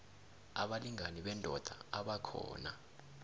abalingani bendoda abakhona